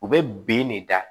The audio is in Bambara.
U bɛ ben ne da